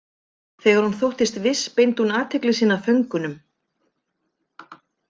Þegar hún þóttist viss beindi hún athygli sinni að föngunum.